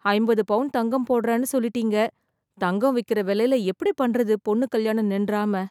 ஐம்பது பவுன் தங்கம் போடறன்னு சொல்லிட்டிங்க, தங்கம் விக்கிற விலைல எப்படி பண்றது பொண்ணு கல்யாணம் நின்றாம